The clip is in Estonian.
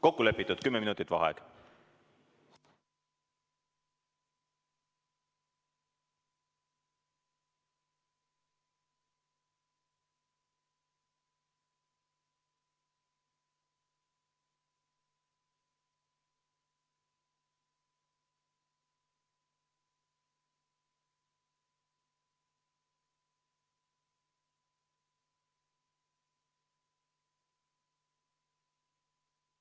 Kokku lepitud, kümme minutit vaheaeg.